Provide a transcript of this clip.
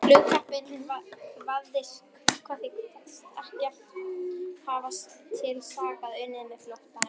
Flugkappinn kvaðst ekkert hafa til saka unnið með flóttanum.